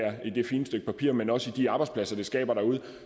fine stykke papir men også i de arbejdspladser vi skaber derude